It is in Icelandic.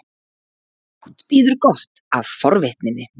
Fátt bíður gott af forvitninni.